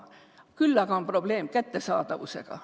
Küll aga on probleem kättesaadavusega.